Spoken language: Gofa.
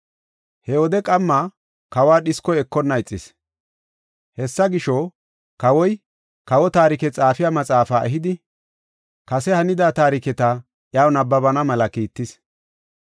He wode qamma kawa dhiskoy ekonna ixis. Hessa gisho, kawoy kawo taarike xaafiya maxaafaa ehidi, kase hanida taariketa iyaw nabbabana mela kiittis.